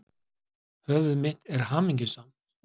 Höfuð mitt er hamingjusamt.